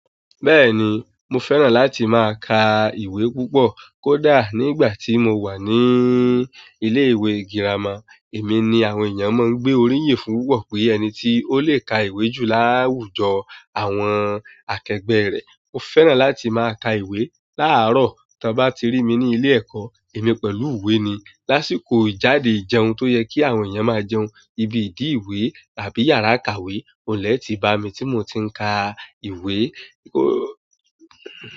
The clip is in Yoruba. Bẹ́ẹ̀ ni, mo fẹ́ràn láti máa ka ìwé púpọ̀. Kódà nígbà tí mo wà ní ilé-ìwé girama, èmi ni àwọn èèyàn máa ń gbé oríyin fún púpọ̀ pé ẹni tí ó lè ka ìwé jù láwùjọ àwọn akẹgbẹ́ rẹ̀. Mo fẹ́ràn láti máa ka ìwé. Láàárọ̀, ta bá ti rí mi ní ilé-ẹ̀kọ́, èmi pẹ̀lú ìwé ni. Lásìkò ijáde ijẹun tó yẹ kí àwọn èèyàn máa jẹun, ibi ìdí-ìwé tàbí yàrá kàwé, mo lè ti bá mi tí mo ti ń ka ìwé.